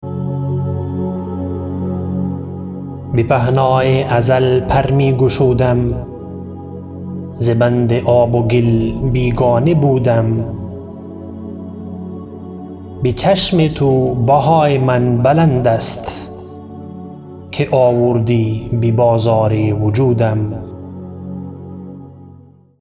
به پهنای ازل پر می گشودم ز بند آب و گل بیگانه بودم بچشم تو بهای من بلند است که آوردی ببازار وجودم